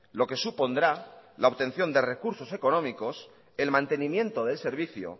lo que supondrá la obtención de recursos económicos el mantenimiento de servicio